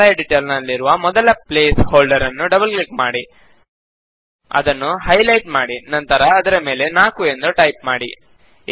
formula editor ನಲ್ಲಿರುವ ಮೊದಲ place holder ನ್ನು ಡಬಲ್ ಕ್ಲಿಕ್ ಮಾಡಿ ಅದನ್ನು ಹೈ ಲೈಟ್ ಮಾಡಿ ನಂತರ ಅದರ ಮೇಲೆ 4 ಎಂದು ಟೈಪ್ ಮಾಡಿ